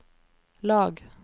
lag